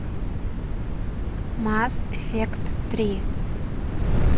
масс эффект три